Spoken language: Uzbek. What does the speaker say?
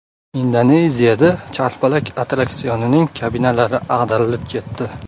Indoneziyada charxpalak attraksionining kabinalari ag‘darilib ketdi .